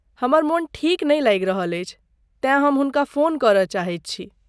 हमर मोन ठीक नै लागि रहल अछि तेँ हम हुनका फोन करय चाहैत छी।